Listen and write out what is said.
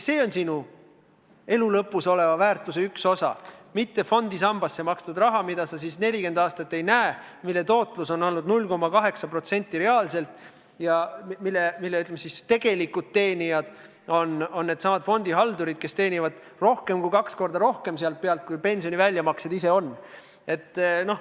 See on sinu elu lõpus oleva väärtuse üks osa, mitte fondisambasse makstud raha, mida sa 40 aastat ei näe, mille tootlus on olnud reaalselt 0,8% ja mille, ütleme siis, tegelikud tuluteenijad on needsamad fondihaldurid, kes teenivad sellelt üle kahe korra rohkem, kui pensioni väljamaksed ise on.